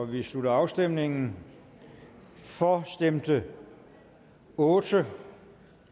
vi slutter afstemningen for stemte otte